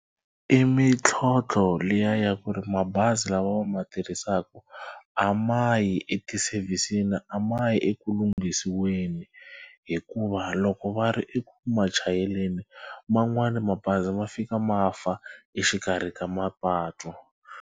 I mintlhontlho liya ya ku ri mabazi lawa va ma tirhisaka a ma yi eti-service-ni a ma yi eku lunghisiweni hikuva loko va ri eku ma chayeleni man'wani mabazi ma fika ma fa exikarhi ka mapatu.